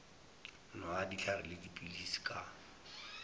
nwa dihlare le dipilisi ka